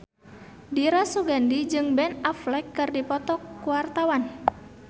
Dira Sugandi jeung Ben Affleck keur dipoto ku wartawan